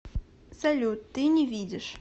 салют ты не видишь